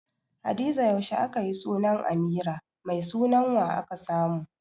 Hadiza yaushe akayi sunan Amira, Mai sunan wa aka samu?